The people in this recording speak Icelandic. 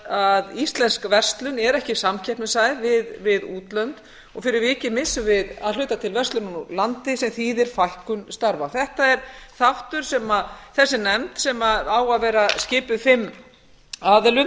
að íslensk verslun er ekki samkeppnishæf við útlönd og fyrir vikið missum við að hluta til verslunina úr landi sem þýðir fækkun starfa þetta er þáttur sem þessi nefnd sem á að vera skipuð fimm aðilum